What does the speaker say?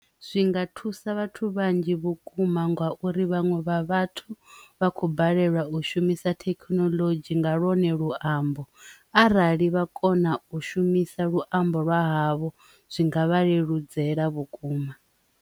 Zwinga thusa vhathu vhanzhi vhukuma ngauri vhaṅwe vha vhathu vha khou balelwa u shumisa thekinoḽodzhi nga lwone luambo arali vha kona u shumisa luambo lwa havho zwi nga vha leludzela vhukuma.